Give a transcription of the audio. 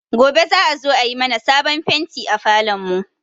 Gobe za a zo a yi mana sabon fenti a falon mu